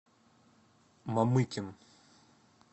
мамыкин